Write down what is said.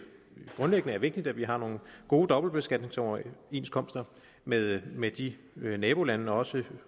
grundlæggende er vigtigt at vi har nogle gode dobbeltbeskatningsoverenskomster med med de nabolande og også